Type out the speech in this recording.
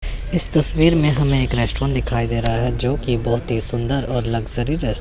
इस तस्वीर में हमें एक रेस्टोरेंट दिखाई दे रहा है जोकि बहोत ही सुंदर और लग्जरी रे--